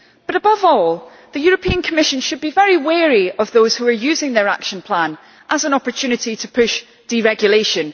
Above all, the Commission should be very wary of those who are using their action plan as an opportunity to push deregulation.